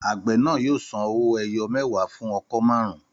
Àgbẹ̀ náà yóò san owó ẹyọ mẹwa fún ọkọ́ marun-un